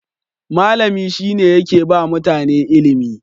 malami shine yakeba mutane ilimi